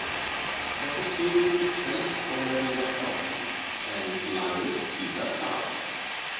Þessi siður hélst á meðan ég var krakki en lagðist síðar af.